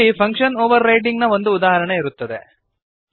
ಇಲ್ಲಿ function overriding ನ ಒಂದು ಉದಾಹರಣೆ ಇರುತ್ತದೆ